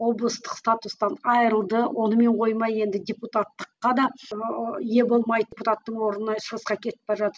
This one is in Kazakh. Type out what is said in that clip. облыстық статустан айрылды онымен қоймай енді депутаттыққа да ие болмай депутаттың орнынан шығысқа кетіп бара жатып